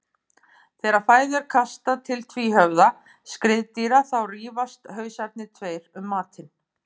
Þegar fæðu er kastað til tvíhöfða skriðdýra þá rífast hausarnir tveir um matinn.